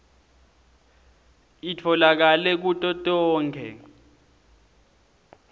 itfolakale kuto tonkhe